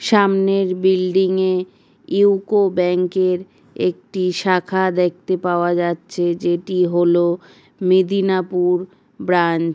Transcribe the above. সামনের বিল্ডিং -এ ইউকো ব্যাংক -এর একটি শাখা দেখতে পাওয়া যাচ্ছে যেটি হল মেদিনাপুর ব্রাঞ্চ ।